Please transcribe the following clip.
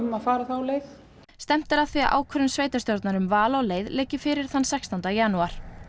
að fara þá leið stefnt er að því að ákvörðun sveitarstjórnar um val á leið liggi fyrir þann sextánda janúar